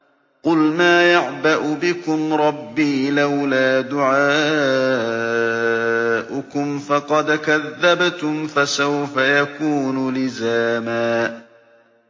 قُلْ مَا يَعْبَأُ بِكُمْ رَبِّي لَوْلَا دُعَاؤُكُمْ ۖ فَقَدْ كَذَّبْتُمْ فَسَوْفَ يَكُونُ لِزَامًا